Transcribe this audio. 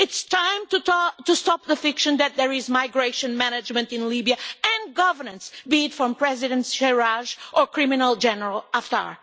It is time to try to stop the fiction that there is migration management in Libya and governance, be it from President Fayez al Sarraj or the criminal General Haftar.